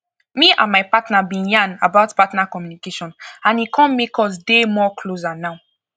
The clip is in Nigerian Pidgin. me and my partner been yan about partner communication and e come make us dey more closer now